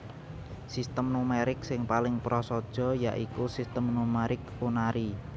Sistem numerik sing paling prasaja ya iku Sistem numerik unary